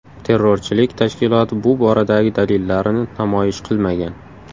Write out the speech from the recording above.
Terrorchilik tashkiloti bu boradagi dalillarini namoyish qilmagan.